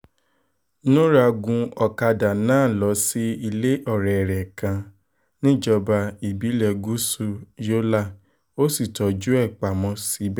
nura gun ọ̀kadà náà lọ sí ilé ọ̀rẹ́ rẹ̀ kan níjọba ìbílẹ̀ gúúsù yọ́là ó sì tọ́jú ẹ̀ pamọ́ síibẹ̀